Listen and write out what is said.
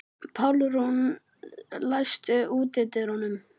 Pálrún, læstu útidyrunum.